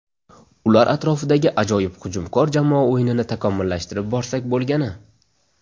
Ular atrofidagi ajoyib hujumkor jamoa o‘yinini takomillashtirib borsak bo‘lgani.